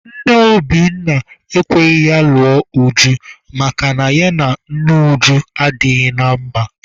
Nne Obinna ekweghị ya lụọ Uju makana ya na nne Uju adịghị na mma.